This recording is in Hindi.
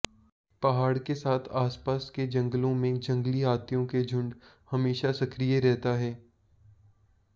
पहाड़ के साथ आसपास के जंगलों में जंगली हाथियों के झुंड हमेशा सक्रिय रहता है